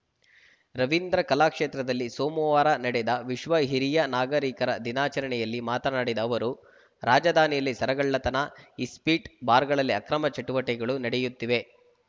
ರವೀಂದ್ರ ಕಲಾಕ್ಷೇತ್ರದಲ್ಲಿ ಸೋಮವಾರ ನಡೆದ ವಿಶ್ವ ಹಿರಿಯ ನಾಗರಿಕರ ದಿನಾಚರಣೆಯಲ್ಲಿ ಮಾತನಾಡಿದ ಅವರು ರಾಜಧಾನಿಯಲ್ಲಿ ಸರಗಳ್ಳತನ ಇಸ್ಪಿಟ್‌ ಬಾರ್‌ಗಳಲ್ಲಿ ಅಕ್ರಮ ಚಟುವಟಿಕೆಗಳು ನಡೆಯುತ್ತಿವೆ